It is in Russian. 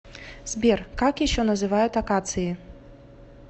сбер как еще называют акации